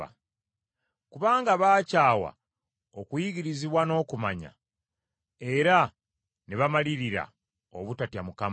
Kubanga baakyawa okuyigirizibwa, n’okumanya, era ne bamalirira obutatya Mukama .